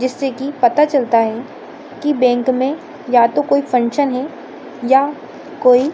जिससे की पता चलता है की बैंक मे या तो कोई फंक्शन है या कोई --